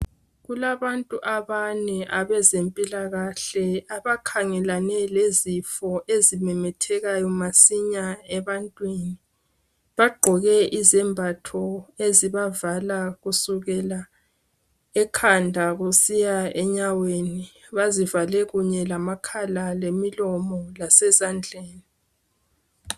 Kulabantu abane abezempilakahle abakhangelane lezifo ezimemetheka masinya ebantwini. Bagqoke izembatho ezibavala kusukela ekhanda kusiya enyaweni bazivake kunye lamakhala lemilomo lasezandleni